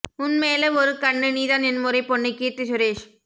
உன் மேல ஒரு கண்ணு நீதான் என் முறை பொண்ணு கீர்த்தி சுரேஷ்